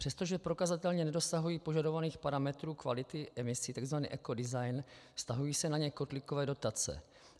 Přestože prokazatelně nedosahují požadovaných parametrů kvality emisí, tzv. ekodesign, vztahují se na ně kotlíkové dotace.